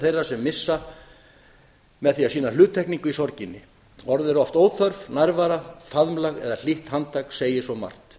þeirra sem missa á því að sýna hluttekningu í sorginni orð eru oft óþörf nærvera faðmlag eða hlýtt handtak segir svo margt